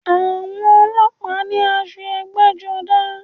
Àwọn ọlọ́pàá ní aṣọ ẹgbẹ́-jọdá.